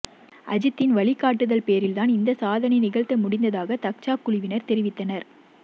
அஜித்தின் வழிகாட்டுதல்பேரில்தான் இந்த சாதனை நிகழ்த்த முடிந்ததாக தக்சா குழுவினர் தெரிவித்தனர்